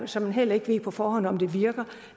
som man heller ikke på forhånd ved om virker